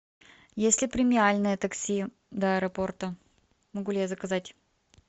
есть ли премиальное такси до аэропорта могу ли я заказать